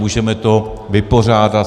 Můžeme to vypořádat.